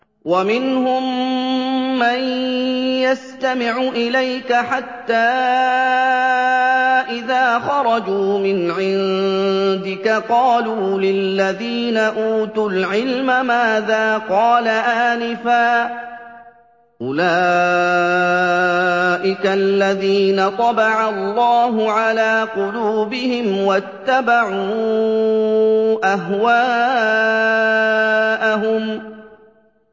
وَمِنْهُم مَّن يَسْتَمِعُ إِلَيْكَ حَتَّىٰ إِذَا خَرَجُوا مِنْ عِندِكَ قَالُوا لِلَّذِينَ أُوتُوا الْعِلْمَ مَاذَا قَالَ آنِفًا ۚ أُولَٰئِكَ الَّذِينَ طَبَعَ اللَّهُ عَلَىٰ قُلُوبِهِمْ وَاتَّبَعُوا أَهْوَاءَهُمْ